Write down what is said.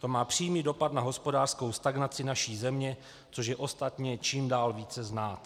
To má přímý dopad na hospodářskou stagnaci naší země, což je ostatně čím dál více znát.